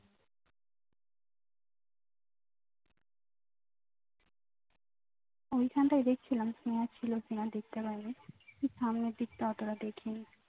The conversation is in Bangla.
ঐখানটায় দেখছিলাম স্নেহা ছিল স্নেহা দেখতে পাইনি ঠিক সামনের দিকটা অতটা দেখিনি